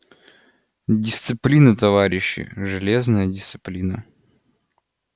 дисциплина товарищи железная дисциплина